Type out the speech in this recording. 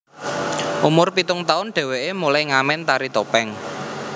Umur pitung taun dheweke mulai ngamen tari topeng